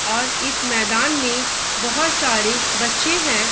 और इस मैदान में बहुत सारे बच्चे है।